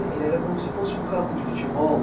Ele era como se fosse um campo de futebol?